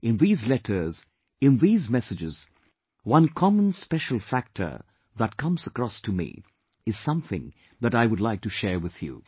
In these letters, in these messages, one common special factor that comes across to me is something that I would like to share with you